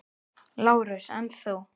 LÁRUS: En þú?